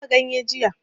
Na dafa ganye jiya